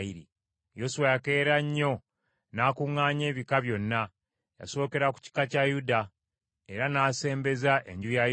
Yoswa yakeera nnyo n’akuŋŋaanya ebika byonna, yasookera ku kika kya Yuda era n’asembeza enju ya Yuda: